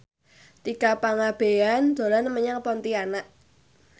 Tika Pangabean dolan menyang Pontianak